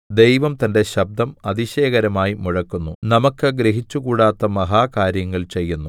ദൈവം തന്റെ ശബ്ദം അതിശയകരമായി മുഴക്കുന്നു നമുക്ക് ഗ്രഹിച്ചുകൂടാത്ത മഹാകാര്യങ്ങൾ ചെയ്യുന്നു